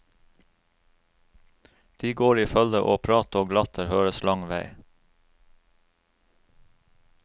De går i følge og prat og latter høres lang vei.